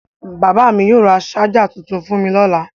Bàbá mi yóò ra ṣáj tuntun fún mi lọ́la.